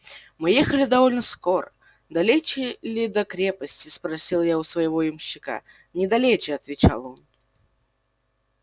мы ехали довольно скоро далече ли до крепости спросил я у своего ямщика недалече отвечал он